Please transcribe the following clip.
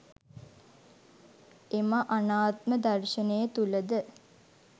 එම අනාත්ම දර්ශනය තුළද